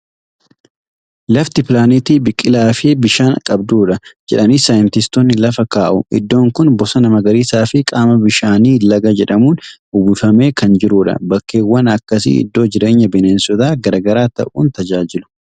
"Lafti pilaanetii biqilaa fi bishaan qabdudha" jedhanii saayinsistoonni lafa kaa'u. Iddoon kun bosona magariisaa fi qaama bishaanii laga jedhamuun uwwifamee kan jirudha. Bakkeewwan akkasii iddoo jireenya bineensota gara garaa ta'uun tajaajilu.